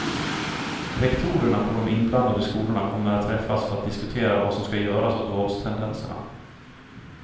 Rektorerna på de inblandade skolorna kommer att träffas för att diskutera vad som skall göras åt våldstendenserna.